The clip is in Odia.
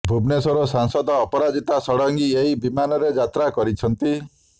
ଭୁବନେଶ୍ୱର ସାଂସଦ ଅପରାଜିତା ଷଡଙ୍ଗୀ ଏହି ବିମାନରେ ଯାତ୍ରା କରିଛନ୍ତି